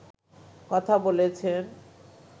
কথা বলেছেন